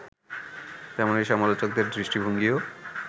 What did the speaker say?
তেমনি সমালোচকদের দৃষ্টিভঙ্গীও